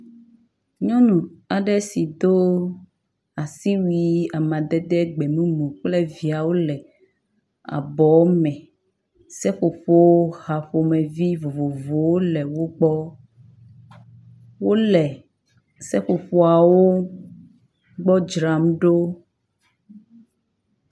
Nyɔnu aɖe si do asiwui amadede gbemumu kple viawo le abɔwo me. Seƒoƒo ha ƒomevi vovovowo le wo gbɔ. Wo le seƒoƒoawo gbɔ dzram ɖo.